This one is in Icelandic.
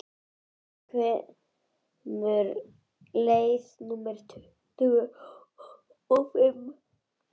Nói, hvenær kemur leið númer tuttugu og fimm?